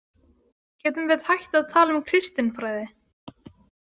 Getum við hætt að tala um kristinfræði?